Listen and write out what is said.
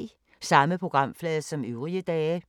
Samme programflade som øvrige dage